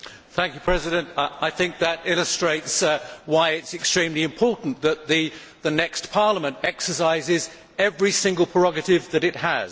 Mr President, I think that illustrates why it is extremely important that the next Parliament exercises every single prerogative that it has.